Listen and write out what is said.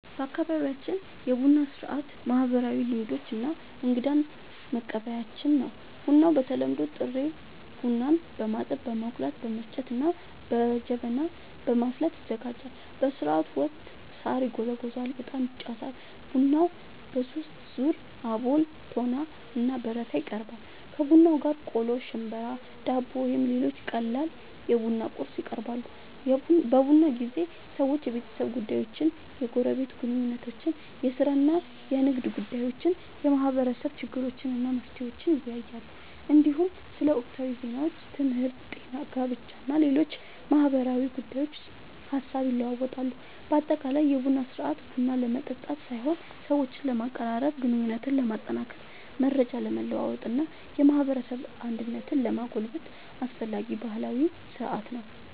በአካባቢያችን የቡና ሥርዓት ማህበራዊ ልምዶች እና እንግዳን መቀበያችን ነው። ቡናው በተለምዶ ጥሬ ቡናን በማጠብ፣ በመቆላት፣ በመፍጨት እና በጀበና በማፍላት ይዘጋጃል። በሥርዓቱ ወቅት ሣር ይጎዘጎዛል፣ ዕጣን ይጨሳል እና ቡናው በሦስት ዙር (አቦል፣ ቶና እና በረካ) ይቀርባል። ከቡናው ጋር ቆሎ፣ ሽምብራ፣ ዳቦ ወይም ሌሎች ቀላል የቡና ቁርስ ይቀርባል። በቡና ጊዜ ሰዎች የቤተሰብ ጉዳዮችን፣ የጎረቤት ግንኙነቶችን፣ የሥራ እና የንግድ ጉዳዮችን፣ የማህበረሰብ ችግሮችን እና መፍትሄዎቻቸውን ይወያያሉ። እንዲሁም ስለ ወቅታዊ ዜናዎች፣ ትምህርት፣ ጤና፣ ጋብቻ እና ሌሎች ማህበራዊ ጉዳዮች ሐሳብ ይለዋወጣሉ። በአጠቃላይ የቡና ሥርዓት ቡና ለመጠጣት ሳይሆን ሰዎችን ለማቀራረብ፣ ግንኙነትን ለማጠናከር፣ መረጃ ለመለዋወጥ እና የማህበረሰብ አንድነትን ለማጎልበት አስፈላጊ ባህላዊ ሥርዓት ነው።